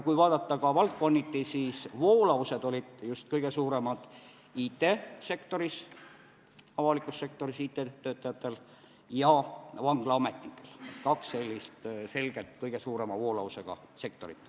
Kui vaadata valdkonniti, siis voolavus oli kõige suurem avaliku sektori IT-töötajate hulgas ja Vanglaametis – need on kaks selget kõige suurema voolavusega sektorit.